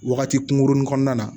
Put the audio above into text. Wagati kunkurunin kɔnɔna na